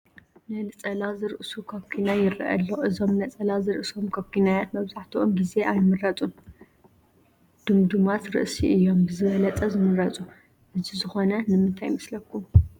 ነፀላ ዝርእሱ ኩኪናይ ይርአ ኣሎ፡፡ እዞም ነፀላ ዝርእሶም ኩኪናያት መብዛሕትኡ ጌዜ ኣይምረፁን፡፡ ድምዱማት ርእሲ እዮም ብዝበለፀ ዝምረፁ፡፡ እዚ ዝኾነ ንምንታይ ይመስለኹም?